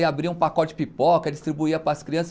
E abria um pacote de pipoca, distribuía para as crianças.